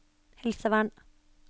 helsevern